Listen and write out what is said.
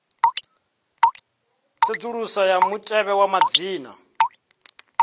tsedzuluso ya mutevhe wa madzina